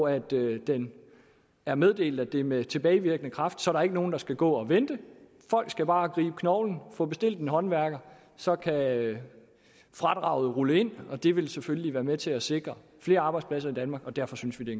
at det det er meddelt at det er med tilbagevirkende kraft så der ikke er nogen der skal gå og vente folk skal bare gribe knoglen og få bestilt en håndværker og så kan fradraget rulle ind det vil selvfølgelig være med til at sikre flere arbejdspladser i danmark og derfor synes vi det